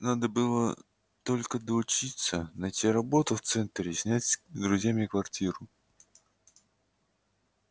надо было только доучиться найти работу в центре и снять с друзьями квартиру